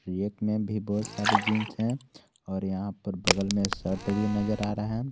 एक में भी बहुत सारी जींस है और यहां पर बगल में शर्ट भी नजर आ रहा है।